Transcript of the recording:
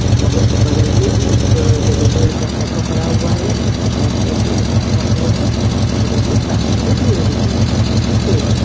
उसके जस्ट बगल मे एक येलो कलर का ऑटो खड़ा हुआ है उसके बैक साइड मे ईलेक्ट्रिक का पोल है और उसके बगल मे काफी सारी ग्री लगी है जो की पेड़ है।